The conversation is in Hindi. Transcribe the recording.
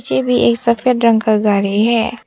पीछे भी एक सफेद रंग का गाड़ी है।